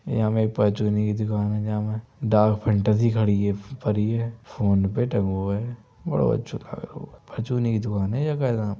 यहाँ एक परचून की दुकान है जहाँ में डार्क फैंटेसी खड़ी है फरी है। फोन-पे टंगों है। बड़ो अच्छों परचूनी दुकान है --